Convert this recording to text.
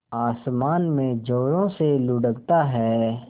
आसमान में ज़ोरों से लुढ़कता है